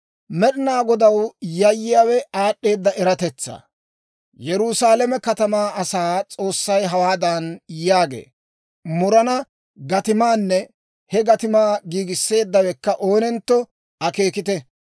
Med'ina Godaw yayyiyaawe aad'd'eeda eratetsaa. Yerusaalame katamaa asaa S'oossay hawaadan yaagee; «Murana gatimaanne he gatimaa giigisseeddawekka oonentto akeekite.